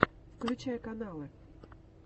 включай каналы